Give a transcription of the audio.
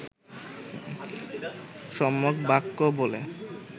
সম্যক বাক্য বলে